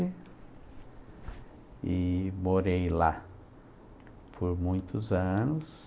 E morei lá por muitos anos.